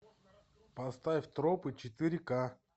поставь тропы четыре ка